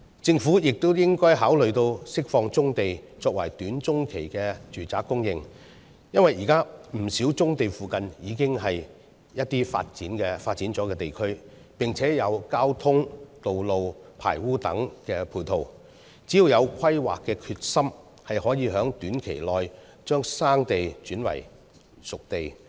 政府亦應該考慮釋放棕地，作為短中期的住宅供應。因為，現時不少棕地附近也是已發展地區，並且有交通、道路和排污等配套，只要有規劃的決心，就可以在短期內把生地轉為熟地。